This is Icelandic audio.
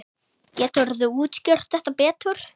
Geturðu útskýrt þetta betur?